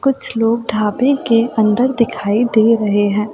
कुछ लोग ढाबे के अंदर दिखाई दे रहे हैं।